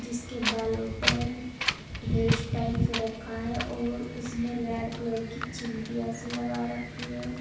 जीसके बालो पर हेयर स्टाइल कर रखा है और उसमें रेड कलर की चिमटी जैसी लगा रखी है।